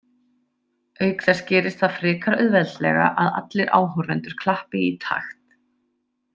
Auk þess gerist það frekar auðveldlega að allir áhorfendur klappi í takt.